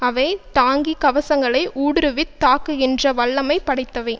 அவை டாங்கி கவசங்களை ஊடுருவித் தாக்குகின்ற வல்லமை படைத்தவை